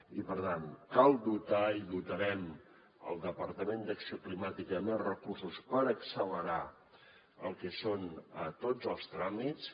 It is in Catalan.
i per tant cal dotar i dotarem el departament d’acció climàtica amb més recursos per accelerar el que són tots els tràmits